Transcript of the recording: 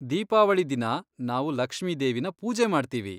ದೀಪಾವಳಿ ದಿನ ನಾವು ಲಕ್ಷ್ಮಿದೇವಿನ ಪೂಜೆ ಮಾಡ್ತೀವಿ.